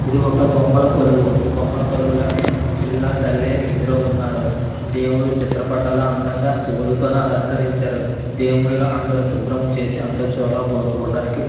ఇది ఒక బొమ్మల కొలువు. ఈ బొమ్మల కొలువులోని పిల్ల తల్లి ఇద్దరు ఉన్నారు. దేవుడి చిత్ర పాటలు అందంగా పువ్వులతోని అలంకరించరు. దేవుళ్ళ అందరు శుభ్రం చేసి అంతా చాలా బాగా చూడటానికి--